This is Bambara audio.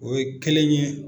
O ye kelen ye